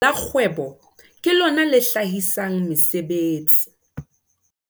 Lekala la kgwebo ke lona le hlahisang mesebetsi.